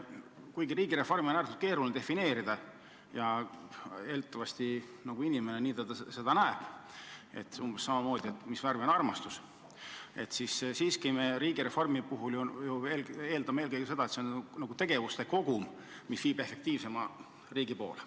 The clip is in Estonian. Kuigi riigireformi on äärmiselt keeruline defineerida – eeldatavasti on samasuguses kimbatuses inimene, kes peab ütlema, mis värvi on armastus –, me üldiselt riigireformi puhul eeldame eelkõige seda, et see on tegevuste kogum, mis viib efektiivsema riigi poole.